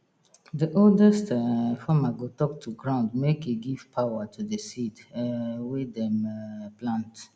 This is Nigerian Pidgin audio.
the oldest um farmer go talk to ground make e give power to the seed um wey dem um plant